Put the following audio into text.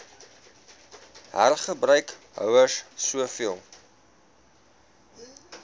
hergebruik houers soveel